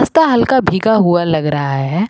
ता हल्का भीगा हुआ लग रहा है।